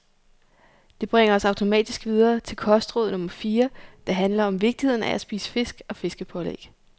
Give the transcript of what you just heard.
Det bringer os automatisk videre til kostråd nummer fire, der handler om vigtigheden af at spise fisk og fiskepålæg.